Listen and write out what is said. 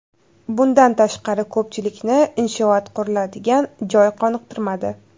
Bundan tashqari, ko‘pchilikni inshoot quriladigan joy qoniqtirmadi.